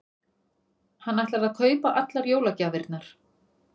Hann ætlar að kaupa allar jólagjafirnar.